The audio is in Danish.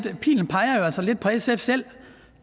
at pilen peger lidt på sf selv